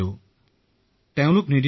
হয় মহোদয় মই এতিয়া সম্পূৰ্ণ সুস্থ